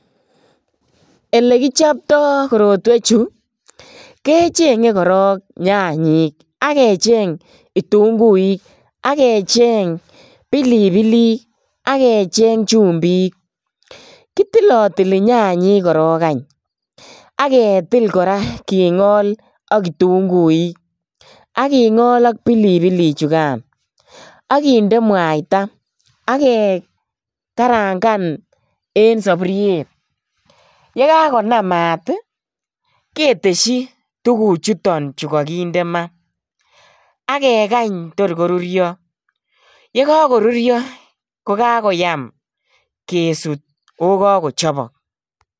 Elekichopto korotwechu kechenge korok nyanyik ak kecheng kitunguik ak kecheng pilipilik ak kecheng chumbik. Kitilotili nyanyek korok any ak ketil kora kingol ak kitunguik. Ak kitunguik ak kingol ak kitunguichugan. Ak kinde mwaita ak kekekarangan en sapuriet. Ye kakonam maat ketesyi tuguchuton kakinde ma ak kekany tor korurio. Yekakorurio kokakoyam kesut ago kakochopok.